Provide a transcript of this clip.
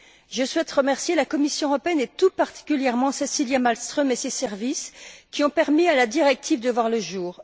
Je souhaite remercier la Commission européenne, et tout particulièrement Cecilia Malmström et ses services, qui ont permis à la directive de voir le jour.